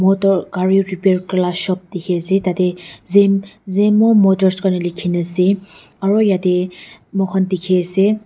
etu kari repair kuralaka shop diki asae tadae zem zemo motors kurina likina asae aro yadae moikan diki asae.